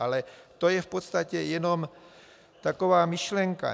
Ale to je v podstatě jenom taková myšlenka.